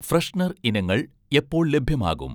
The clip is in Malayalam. ഫ്രെഷ്നർ ഇനങ്ങൾ എപ്പോൾ ലഭ്യമാകും?